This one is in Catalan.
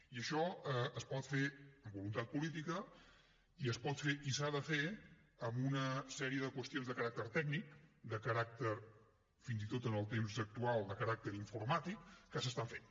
i això es pot fer amb voluntat política i es pot fer i s’ha de fer amb una sèrie de qüestions de caràcter tècnic de caràcter fins i tot en el temps actual de caràcter informàtic que s’estan fent